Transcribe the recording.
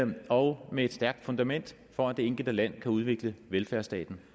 og med et stærkt fundament for at det enkelte land kan udvikle velfærdsstaten